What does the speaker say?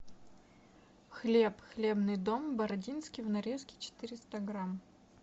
хлеб хлебный дом бородинский в нарезке четыреста грамм